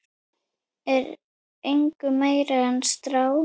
er engu meiri en strá.